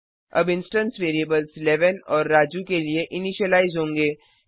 अब instance variables 11 और राजू के लिए इनिशीलाइज होंगे